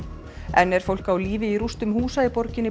enn er fólk á lífi í rústum húsa í borginni